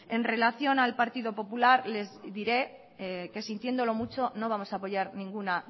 en relación al partido popular les diré que sintiéndolo mucho no vamos a apoyar ninguna